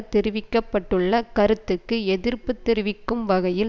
தெரிவிக்க பட்டுள்ள கருத்துக்கு எதிர்ப்பு தெரிவிக்கும் வகையில்